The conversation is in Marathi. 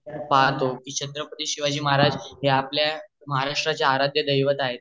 पाहतो कि छत्रपती शिवाजी महाराज हे आपली महाराष्ट्राचे आर्ध्या दैवत आहेत